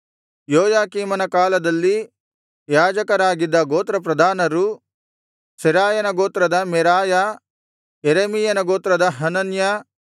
ಯೋಯಾಕೀಮನ ಕಾಲದಲ್ಲಿ ಯಾಜಕರಾಗಿದ್ದ ಗೋತ್ರಪ್ರಧಾನರು ಸೆರಾಯನ ಗೋತ್ರದ ಮೆರಾಯ ಯೆರೆಮೀಯನ ಗೋತ್ರದ ಹನನ್ಯ